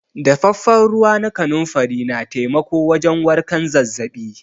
Daffafen ruwa na kanunfari na taimako wajen warken zazzabi.